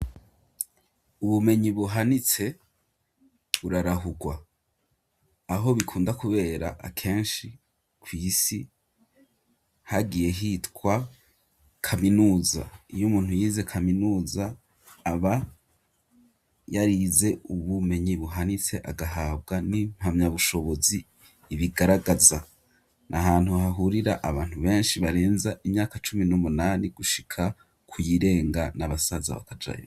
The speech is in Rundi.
Ubumenyi buhanitse burarahurwa aho bikunda, kubera akenshi kw'isi hagiye hitwa kaminuza iyo umuntu yize kaminuza aba yoarize ubumenyi buhanitse agahabwa ni mpamya bushobozi ibigaragaza ni ahantu hahurira abantu benshi barenza imyaka cumi n'umunani gushika kuyirenga n'abasaza batajayo.